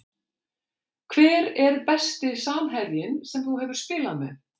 Hver er besti samherjinn sem þú hefur spilað með?